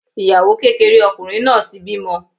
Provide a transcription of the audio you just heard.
Ìyàwó kékeré ọkùnrin náà ti bímọ.